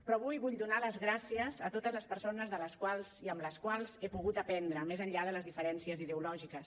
però avui vull donar les gràcies a totes les persones de les quals i amb les quals he pogut aprendre més enllà de les diferències ideològiques